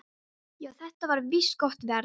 Já, þetta var víst gott verð.